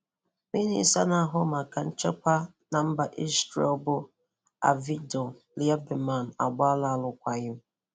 Minísta na-ahụ maka nchekwa na nchekwa na mba Ízrél bụ Avigdor Lieberman agbaala arụkwaghị m.